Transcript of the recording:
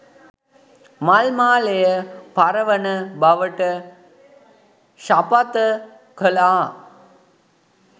මල් මාලය පර වන බවට ශපථ කළා